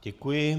Děkuji.